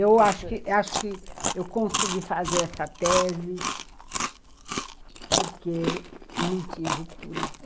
Eu acho acho que eu consegui fazer essa tese porque não tinha ruptura.